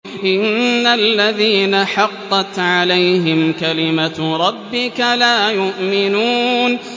إِنَّ الَّذِينَ حَقَّتْ عَلَيْهِمْ كَلِمَتُ رَبِّكَ لَا يُؤْمِنُونَ